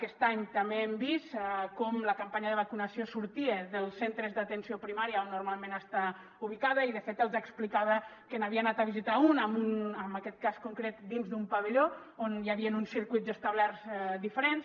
aquest any també hem vist com la campanya de vacunació sortia dels centres d’atenció primària on normalment està ubicada i de fet els explicava que n’havia anat a visitar un en aquest cas concret dins d’un pavelló on hi havien uns circuits establerts diferents